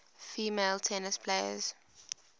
female tennis players